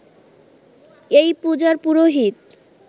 এই পূজার পুরোহিত